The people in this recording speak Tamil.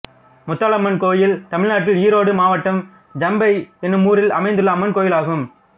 முத்தாலம்மன் கோயில் தமிழ்நாட்டில் ஈரோடு மாவட்டம் ஜம்பை என்னும் ஊரில் அமைந்துள்ள அம்மன் கோயிலாகும்